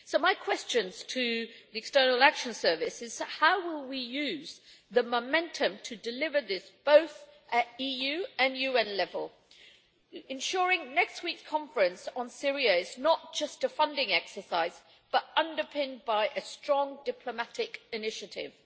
So my question to the External Action Service is how we will use the momentum to deliver this at both EU and UN level, ensuring that next week's conference on Syria is not just a funding exercise, but underpinned by a strong diplomatic initiative.